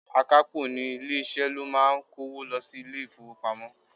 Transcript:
Akapo ní ilé-isẹ ló máa ń kówo lọ sí ilé-ifowopamo.